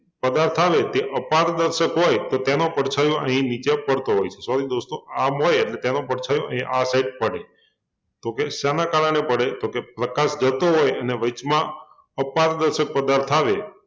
પદાર્થ આવે તે અપારદર્શક હોય તો તેનો પડછાયો અહિં નીચે પડતો હોય sorry દોસ્તો આ આમ હોય એટલે તેનો પડછાયો એ આ side પડે તો કે શેના કારણે પડે? તો કે પ્રકાશ જતો હોય અને વયચમાં અપારદર્શક પદાર્થ આવે